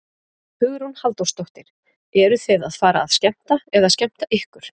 Hugrún Halldórsdóttir: Eruð þið að fara að skemmta eða skemmta ykkur?